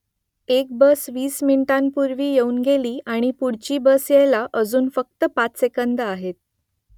एक बस वीस मिनिटांपूर्वी येऊन गेली आणि पुढची बस यायला अजून फक्त पाच सेकंदं आहेत